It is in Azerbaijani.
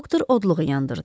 Doktor odluğu yandırdı.